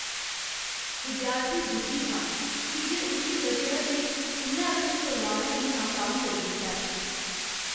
विद्यार्थी दुखी हा की जे उस्सी लग्गेआ जे उ'न्नै अपने परोआरै गी नाकाम करी दित्ता ऐ।